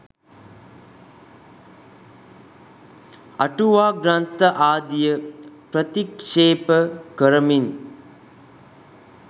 අටුවා ග්‍රන්ථ ආදිය ප්‍රතික්ෂේප කරමින්